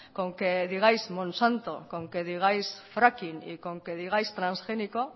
con que digáis monsanto con que digáis fracking y con que digáis transgénico